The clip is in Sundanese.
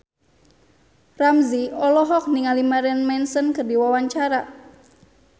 Ramzy olohok ningali Marilyn Manson keur diwawancara